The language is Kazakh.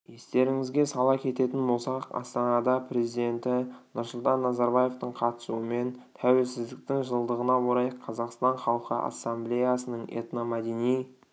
естеріңізге сала кететін болсақ астанада президенті нұрсұлтан назарбаевтың қатысуымен тәуелсіздіктің жылдығына орай қазақстан халқы ассамблеясының этномәдени